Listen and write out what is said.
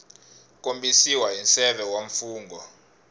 kombisiwa hi nseve wa mfungho